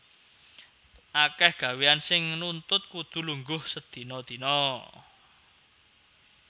Akèh gawéyan sing nuntut kudu lungguh sedina dina